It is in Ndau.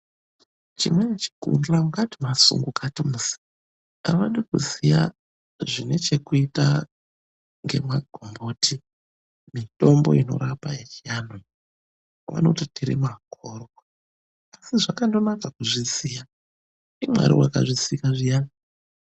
Chimweni chikundla ungati masungukati musi. Avadi kuziya zvine chekuita ngemagomboti, mitombo inorapa yechiantu iyi. Vanoti tiri makhorwa, asi zvakandonaka kuzviziya. NdiMwari wakazvisika zviyani.